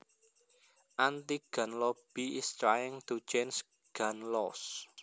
anti gun lobby is trying to change gun laws